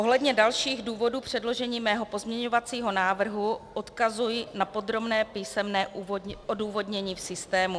Ohledně dalších důvodů předložení mého pozměňovacího návrhu odkazuji na podrobné písemné odůvodnění v systému.